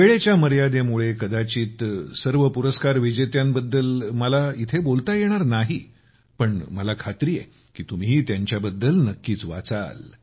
वेळेच्या मर्यादेमुळे कदाचित सर्व पुरस्कार विजेत्यांबद्दल मला इथे बोलता येणार नाही पण मला खात्री आहे की तुम्ही त्यांच्याबद्दल नक्कीच वाचाल